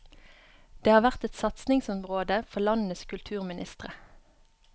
Det har vært et satsingsområde for landenes kulturministre.